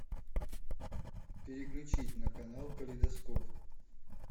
переключить на канал калейдоскоп